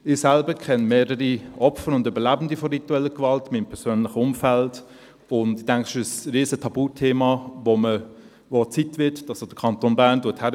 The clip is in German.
» Ich selbst kenne mehrere Opfer und Überlebende von ritueller Gewalt in meinem persönlichen Umfeld, und ich denke, das ist ein riesiges Tabuthema, bei dem es Zeit wird, dass auch der Kanton Bern hinschaut.